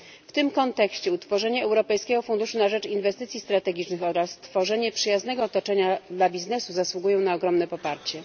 W tym kontekście utworzenie Europejskiego Funduszu na rzecz Inwestycji Strategicznych oraz stworzenie przyjaznego otoczenia dla biznesu zasługują na ogromne poparcie.